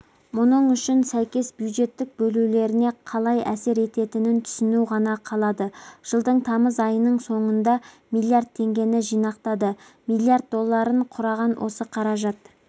мұның үшін сәйкес бюджеттік бөлулеріне қалай әсер ететінін түсіну ғана қалады жылдың тамыз айының соңында миллиард теңгені жинақтады миллард долларын құраған осы қаражат